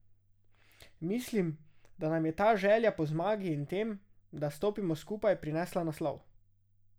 Mislim, da nam je ta želja po zmagi in tem, da stopimo skupaj, prinesla naslov.